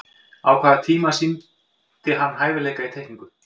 á sama tíma sýndi hann hæfileika í teikningu